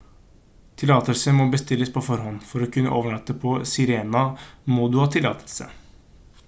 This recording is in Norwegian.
tillatelser må bestilles på forhånd for å kunne overnatte på sirena må du ha tillatelse